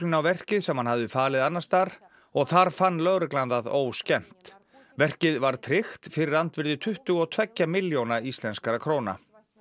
á verkið sem hann hafði falið annars staðar og þar fann lögreglan það óskemmt verkið var tryggt fyrir andvirði tuttugu og tveggja milljóna íslenskra króna